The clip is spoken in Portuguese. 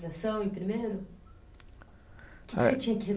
em primeiro? Eh.